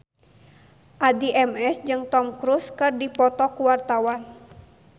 Addie MS jeung Tom Cruise keur dipoto ku wartawan